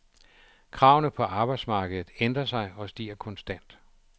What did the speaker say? Kravene på arbejdsmarkedet ændrer sig og stiger konstant.